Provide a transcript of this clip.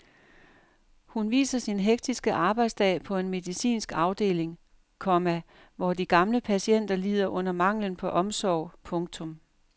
Hun viser sin hektiske arbejdsdag på en medicinsk afdeling, komma hvor de gamle patienter lider under manglen på omsorg. punktum